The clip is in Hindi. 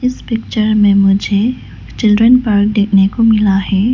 इस पिक्चर में मुझे चिल्ड्रन पार्क देखने को मिला है।